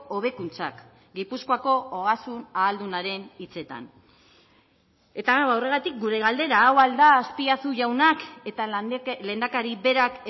hobekuntzak gipuzkoako ogasun ahaldunaren hitzetan eta horregatik gure galdera hau al da azpiazu jaunak eta lehendakari berak